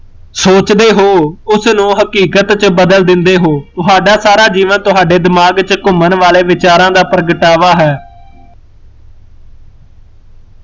ਸੋਚਦੇ ਹੋ, ਉਸਨੂੰ ਹਕੀਕਤ ਚ ਬਦਲ ਦਿੰਦੇ ਹੋ, ਤੁਹਾਡਾ ਸਾਰਾ ਜੀਵਨ ਤੁਹਾਡੇ ਦਿਮਾਗ ਚ ਘੁਮਣ ਵਾਲੇ ਵਿਚਾਰਾ ਡ ਪ੍ਰਗਟਵਾ ਹੈ